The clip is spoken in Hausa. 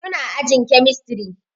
Su na ajin kemistri